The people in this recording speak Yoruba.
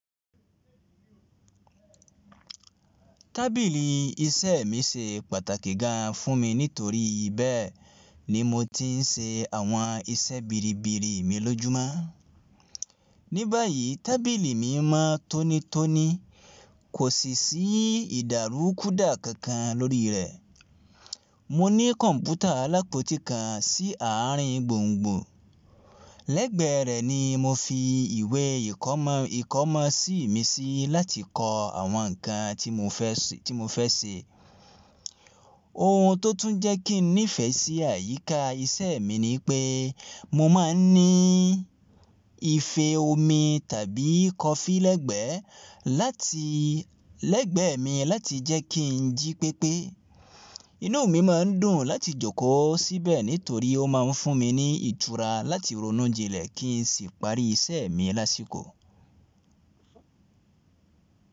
Tábìlì iṣẹ́ mi ṣe pàtàkì gan fún mi nítorí bẹ́ẹ̀ ni mo ti ń ṣe àwọn iṣẹ́ biribiri mi lójúmọ́. Níba yìí tábìlì mi mọ́ tónítóní, kò sì sí ìdàrúkúda kankan lórí rẹ̀. Mo ní kọ̀ǹpútà alápòtí kan sí ààrin gbùngbùn lẹ́gbẹ̀ẹ́ rẹ̀ ni mo fi ìwé ìkọ́mọ̀sí mi sí láti kọ́ àwọn nǹkan tí mo fẹ́ ṣe. Ohun tó tún jẹ́ kí n nífẹ̀ẹ́ sí àyíká iṣẹ́ mi ni pé mo máa ń ní ife omi tàbí kọfí lẹ́gbẹ̀ẹ́ mi láti jẹ́ kí n jí pépé. Inú mi máa ń dùn láti jókòó síbẹ̀ nítorí ó máa ń fún mi ní ìtura láti ronú jinlẹ̀ kí n sì parí iṣẹ́ mi lásìkò.